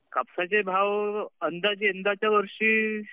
कापसाचे भाव अंदाजे यंदाच्या वर्षी